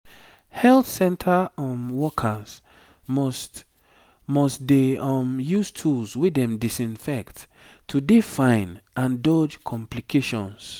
health center um workers must must dey um use tools wey dem disinfect to dey fine and dodge complications